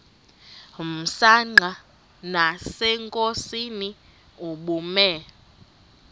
msanqa nasenkosini ubume